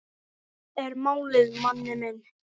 Það er málið, manni minn.